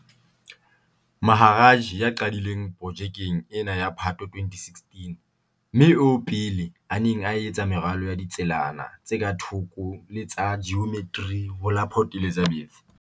Maharaj ya qadileng pro -jekeng ena ka Phatho 2016, mme eo pele a neng a etsa meralo ya ditselana tse ka thoko le tsa jiometri ho la Port Elizabeth